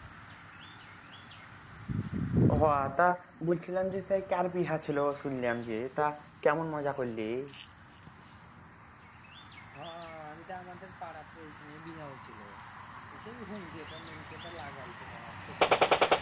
হ তা বুইলছিলাম যে কার বিহা ছিল শুইনছিলাম যে তা কেমন মজা করলি হ এইটা আমাদের পাড়া তেই এইখানেই বিহা ছোট খাটো